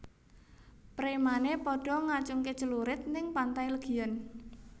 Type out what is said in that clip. Premane podo ngacungke clurit ning Pantai Legian